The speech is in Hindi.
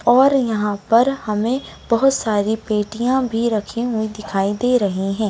और यहाँ पर हमें बहुत सारी पेटिया भी रखी हुई दिखाई दे रही है।